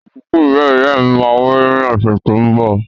Ìsìkú ìyá-ìyámí má wáyé ni ọ̀sẹ̀ to n bọ̀